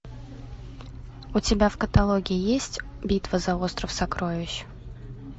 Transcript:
у тебя в каталоге есть битва за остров сокровищ